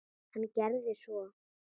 Hann gerði svo.